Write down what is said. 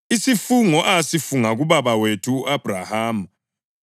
isifungo asifunga kubaba wethu u-Abhrahama: